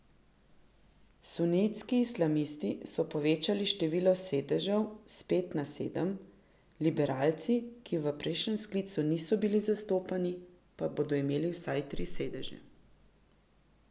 Sunitski islamisti so povečali število sedežev s pet na sedem, liberalci, ki v prejšnjem sklicu niso bili zastopani, pa bodo imeli vsaj tri sedeže.